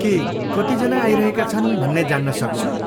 के कतिजना आइरहेका छन्, भन्ने जान्न सक्छु?